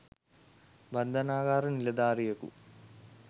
බන්ධනාගාර නිලධාරියෙකු